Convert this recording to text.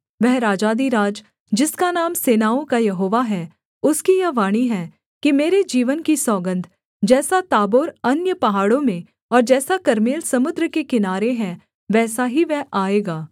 वह राजाधिराज जिसका नाम सेनाओं का यहोवा है उसकी यह वाणी है कि मेरे जीवन की सौगन्ध जैसा ताबोर अन्य पहाड़ों में और जैसा कर्मेल समुद्र के किनारे है वैसा ही वह आएगा